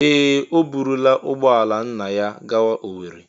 Ee! O burula ụgbọ ala nna ya gawa Owerri.